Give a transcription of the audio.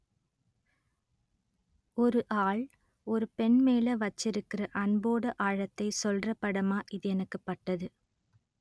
ஒரு ஆள் ஒரு பெண் மேல வச்சிருக்குற அன்போட ஆழத்தை சொல்ற படமா இது எனக்கு பட்டது